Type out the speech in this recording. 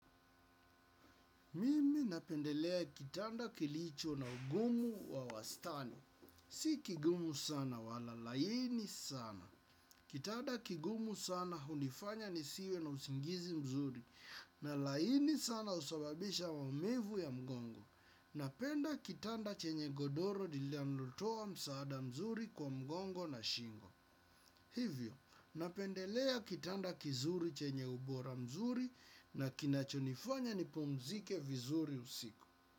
Mimi napendelea kitanda kilicho na ugumu wa wastani. Si kigumu sana wala laini sana. Kitanda kigumu sana hunifanya nisiwe na usingizi mzuri. Na laini sana husababisha maumivu ya mgongo. Napenda kitanda chenye godoro linalotoa msaada mzuri kwa mgongo na shingo. Hivyo, napendelea kitanda kizuri chenye ubora mzuri na kinachonifanya nipumzike vizuri usiku.